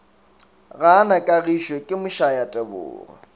gaa na kagišo ke mošayatebogo